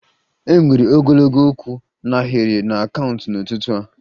E nwere ogologo kwụ n'ahiri na kaunta n'ụtụtụ a